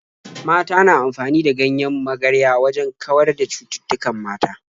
Mata na amfani da ganyen magarya wajen kawar da cututtukan mata.